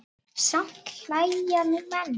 Samt hlæja nú menn.